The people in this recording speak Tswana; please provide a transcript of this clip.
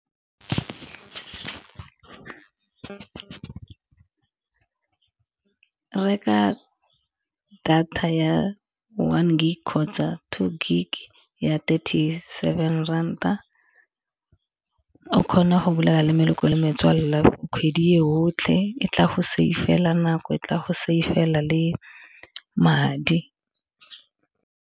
Reka data ya one gig kgotsa two gig ya thirty seven ranta, o kgona go bolela le meloko le metswalle kgwedi e otlhe e tla go save-la nako e tla go save-la le madi.